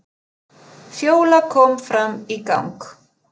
Fjóla kom fram í gang.